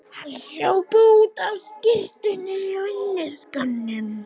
Hann hljóp út á skyrtunni og inniskónum.